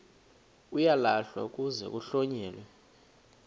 uyalahlwa kuze kuhlonyelwe